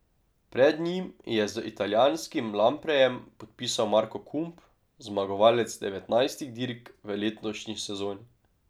Pred njim je z italijanskim Lamprejem podpisal Marko Kump, zmagovalec devetnajstih dirk v letošnji sezoni.